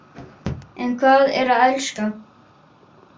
En hvað er að elska?